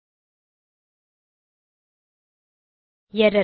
சரி எர்ரர்